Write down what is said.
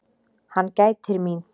Hann gætir mín.